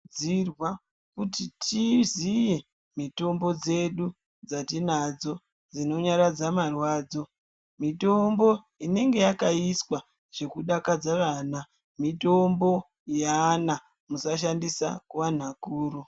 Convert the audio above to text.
Tinokurudzira kuti tiziye mitombo dzedu dzatinadzo dzinonyaradza marwadzo. Mitombo inenge yakaiswa zvekudakadza vana. Mitombo yaana musashandisa kuvanhu vakuru.